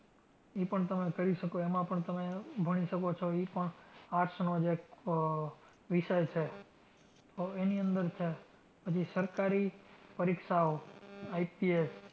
ઈ પણ તમે કરી શકો. એમાં પણ તમે ભણી શકો. ઈ પણ arts નો જ એક આહ વિષય છે. આહ એની અંદર છે. પછી સરકારી પરીક્ષાઓ, IPS